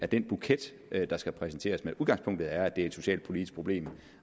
den buket der skal præsenteres men udgangspunktet er at det er et socialpolitisk problem